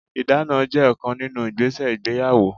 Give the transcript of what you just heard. Ìdána jẹ́ ọ̀kan nínú igbese ìgbéyàwó.